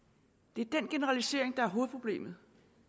det er den generalisering der er hovedproblemet